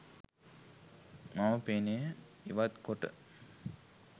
මම පෙනය ඉවත් කොට